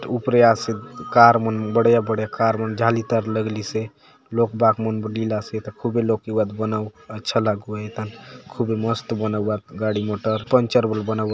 उपरे आसे कार मन बढ़िया - बढ़िया कार मन जाली तार लगलीसे लोक बाग मन बले इलासे एथा खूबे लोक एउआत बनाउक अच्छा लागुआय एथा खूबे मस्त बनाऊआत गाड़ी मोटर पंचर बले बनाउआत ।